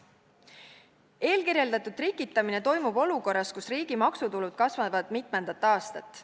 Eelkirjeldatud trikitamine toimub olukorras, kus riigi maksutulud kasvavad mitmendat aastat.